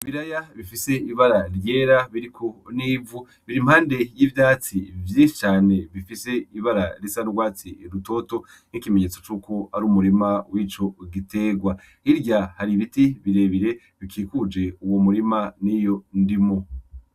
Ibiraya bifise ibara ryera , biriko n'ivu . Bir'impande y'ivyatsi vyinshi cane bifise ibara risa n'urwatsi rutoto. Nk'ikimenyetso cuko ar'umurima wico giterwa . Hirya har'ibiti birebire bikikuje uwo murima n'iyo ndimo.